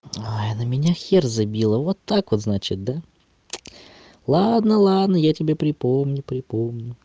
ой на меня хер забила вот так вот значит да ладно ладно я тебе припомню припомню